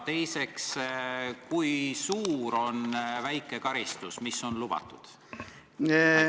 Teiseks, kui suur on väike karistus, mis on lubatud?